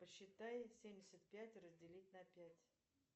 посчитай семьдесят пять разделить на пять